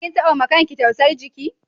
Kin tabba ba ma kan ki tausan jiki?